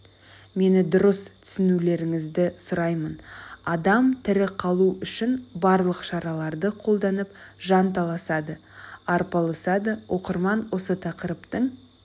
мені дұрыс түсінулеріңізді сұраймын адам тірі қалу үшін барлық шараларды қолданып жанталасады арпалысады оқырман осы тақырыптың